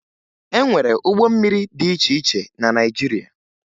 E nwere ụgbọ mmiri dị iche iche na Naịjirịa